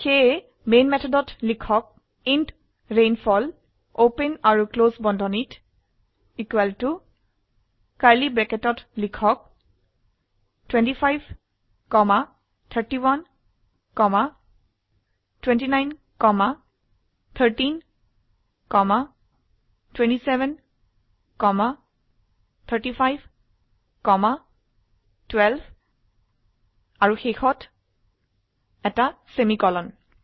সেয়ে মেন মেথডত লিখক ইণ্ট ৰেইনফল ওপেন আৰু ক্লোস বন্ধনীত curly bracketত লিখক 25 31 29 13 27 35 12 আৰু শেষত এটি সেমিকোলন